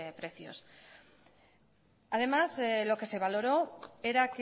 precios además lo que se valoró era